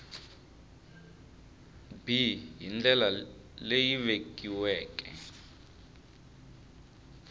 b hi ndlela leyi vekiweke